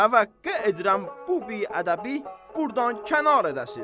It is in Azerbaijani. Təvəqqə edirəm bu biədəbi burdan kənar edəsiz.